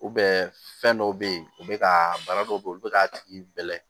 fɛn dɔw bɛ yen u bɛ ka bana dɔw bɛ yen u bɛ ka tigi bɛlɛ